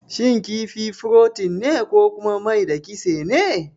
Shin kifi furotin ne ko kuma mai da kitse ne?